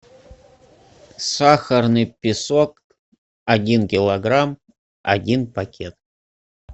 сахарный песок один килограмм один пакет